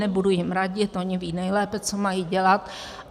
Nebudu jim radit, oni vědí nejlépe, co mají dělat.